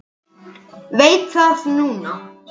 Veit það núna.